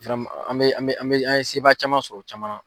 an bɛ an bɛ an bɛ an ye sebaya sɔrɔ o caman na.